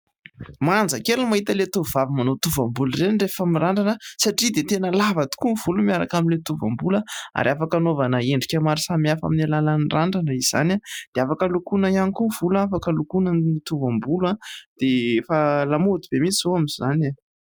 Manjakely ny mahita ilay tovovavy manao tovam-bolo ireny rehefa mirandrana satria dia tena lava tokoa ny volo miaraka amin'ilay tovam-bolo ary afaka anaovana endrika maro samihafa amin'ny alalan'ny randrana izany dia afaka lokoina ihany koa ny volo, afaka lokoina ny tovam-bolo dia efa lamaody be mihitsy izao amin'izany e !